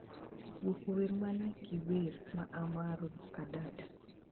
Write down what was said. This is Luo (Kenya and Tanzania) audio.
gwoko wer man ki wer ma amaro adada